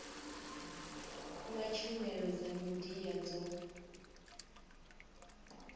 na tshumelo dza midia dzo